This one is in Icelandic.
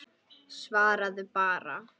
Svaraðu bara.